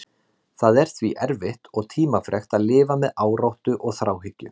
Það er því erfitt og tímafrekt að lifa með áráttu og þráhyggju.